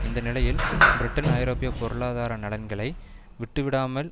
இந்த நிலையில் பிரிட்டன் ஐரோப்பிய பொருளாதார நலன்களை விட்டுவிடாமல்